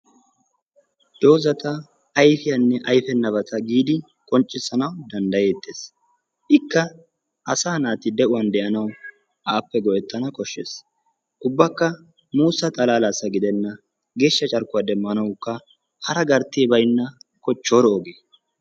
Doozata ayfiyanne ayfenabata giidi qonccisanaw danddayetees. ikka asa naati de'uwan de'anaw appe go''etana koshshees. ubbakka muussa xalaallassa gidena asa naati geeshsha carkkuwa demmanaw hara garttee baynna kochchoro oge.